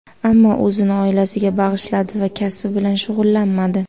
Ammo o‘zini oilasiga bag‘ishladi va kasbi bilan shug‘ullanmadi.